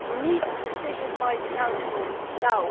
We need a decision by the Council now